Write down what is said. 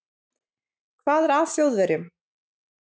Hvað er að Þjóðverjum?